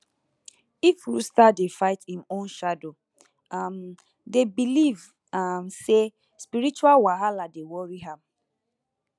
if rooster dey fight im own shadow um dem believe um say spiritual wahala dey worry am